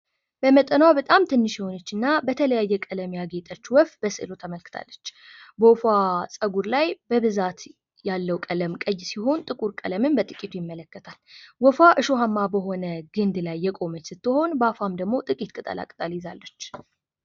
በመጠኗ በጣም ትንሽ የሆነች እና በቀለሞች ያጌጠች ወፍ በስዕሉ ተመልክታለች። በወፏ ጸጉር ላይ በብዛት ያለው ቀለም ቀይ ሲሆን ጥቁር ቀለምም በጥቂቱ ይመለከታል። ወፏ እሾሃማ በሆነ ግንድ ላይ የቆመች ሲሆን በአፏም ደግሞ ጥቂት ቅጠላቅጠል ይዛለች።